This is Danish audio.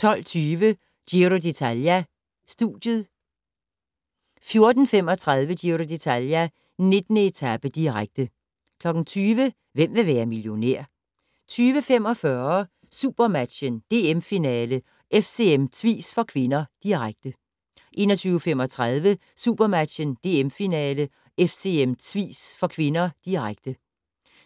12:20: Giro d'Italia: Studiet 14:35: Giro d'Italia: 19. etape, direkte 20:00: Hvem vil være millionær? 20:45: SuperMatchen: DM-finale - FCM-Tvis (k), direkte 21:35: SuperMatchen: DM-finale - FCM-Tvis (k), direkte